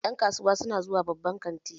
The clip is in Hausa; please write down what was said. Ƴan kasuwa su na zuwa babban kanti